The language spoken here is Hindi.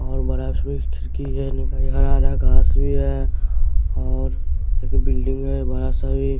और खिड़की है हरा हरा घास भी है और एक बिल्डिंग में बड़ा सा भी--